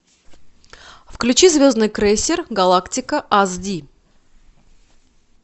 включи звездный крейсер галактика аш ди